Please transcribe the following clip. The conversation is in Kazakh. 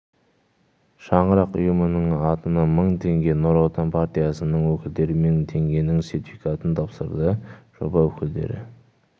шаңырақ ұйымының атынан мың теңге нұр отан партиясының өкілдері мың теңгенің сертификатын тапсырды жоба өкілдері